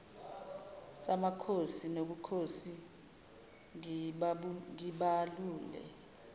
samakhosi nobukhosi ngibalule